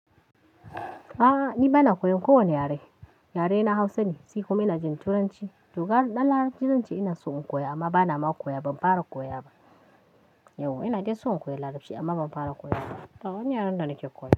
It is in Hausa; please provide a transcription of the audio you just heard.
A'a ni bana koyan kowane yare, yare na Hausa ne sai kuma ina jin Turanci. To gara ɗan Larabci zan ce ina so in koya amma bana ma koya, ban fara koya ba. Yauwa ina dai so in koya Larabci amma ban fara koya ba. Ba wani yaren da nake koyan?